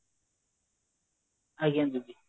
ଆଜ୍ଞା ଦିଦି